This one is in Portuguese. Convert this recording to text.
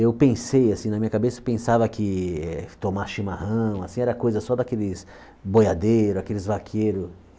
Eu pensei, assim, na minha cabeça, pensava que tomar chimarrão, assim, era coisa só daqueles boiadeiros, aqueles vaqueiros.